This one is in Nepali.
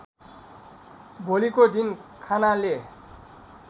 भोलिको दिन खानाले